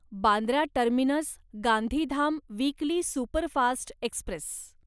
Bandra terminus Gandhidham weekly superfast Express